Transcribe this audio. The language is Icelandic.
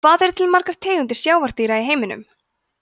hvað eru til margar tegundir sjávardýra í heiminum